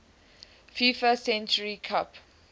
fifa century club